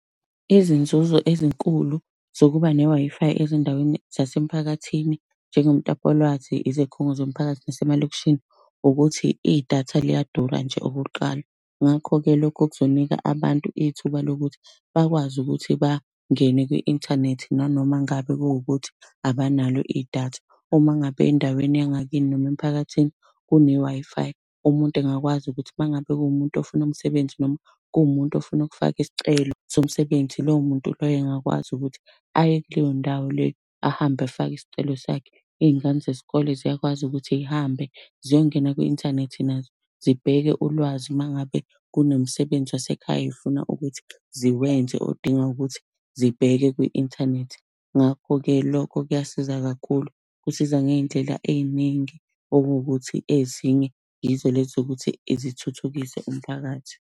Izinzuzo ezinkulu zokuba ne-Wi-Fi ezindaweni zasemphakathini, njengomtapo wolwazi, izikhungo zomphakathi, nasemalokishini, ukuthi idatha liyadura nje okokuqala. Ngakho-ke lokho kuzonika abantu ithuba lokuthi bakwazi ukuthi bangene kwi-inthanethi nanoma ngabe kuwukuthi abanalo idatha. Uma ngabe endaweni yangakini noma emphakathini, kune-Wi-Fi, umuntu engakwazi ukuthi uma ngabe kuwumuntu ofuna umsebenzi noma kuwumuntu ofuna ukufaka isicelo somsebenzi lowomuntu loyo engakwazi ukuthi aye kuleyo ndawo leyo, ahambe afake isicelo sakhe. Iy'ngane zesikole ziyakwazi ukuthi zihambe ziyongena kwi-inthanethi nazo zibheke ulwazi uma ngabe kunomsebenzi wasekhaya zifuna ukuthi ziwenze odinga ukuthi zibheke kwi-inthanethi. Ngakho-ke lokho kuyasiza kakhulu, kusiza ngey'ndlela ey'ningi okuwukuthi ezinye yizo lezi zokuthi zithuthukise umphakathi.